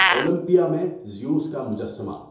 Olympia میں Zeus کا مجسمہ